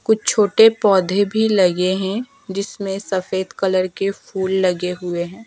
कुछ छोटे पौधे भी लगे हैं जिसमें सफेद कलर के फूल लगे हुए हैं।